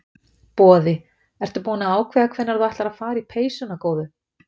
Boði: Ertu búin að ákveða hvenær þú ætlar að fara í peysuna góðu?